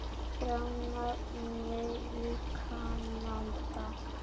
frá námi í Kanada.